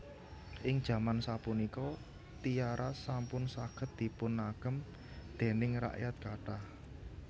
Ing jaman sapunika tiara sampun saged dipunagem déning rakyat kathah